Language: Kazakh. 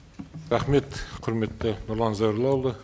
рахмет құрметті нұрлан зайроллаұлы